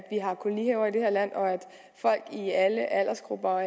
har kolonihaver i det her land og at folk i alle aldersgrupper og